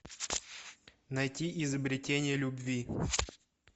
найти изобретение любви